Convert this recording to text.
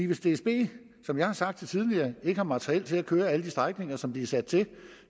hvis dsb som jeg har sagt det tidligere ikke har materiel til at køre alle de strækninger som de er sat til